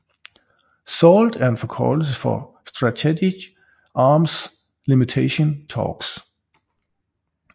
SALT er en forkortelse for Strategic Arms Limitation Talks